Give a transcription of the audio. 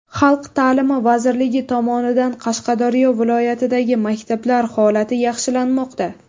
Xalq ta’limi vazirligi tomonidan Qashqadaryo viloyatidagi maktablar holati yaxshilanmoqda.